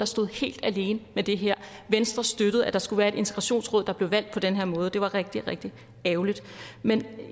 stod helt alene med det her venstre støttede at der skulle være et integrationsråd der blev valgt på den her måde det var rigtig rigtig ærgerligt men